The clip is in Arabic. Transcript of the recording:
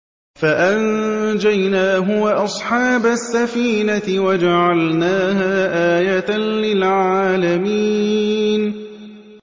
فَأَنجَيْنَاهُ وَأَصْحَابَ السَّفِينَةِ وَجَعَلْنَاهَا آيَةً لِّلْعَالَمِينَ